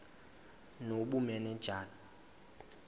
nobumanejala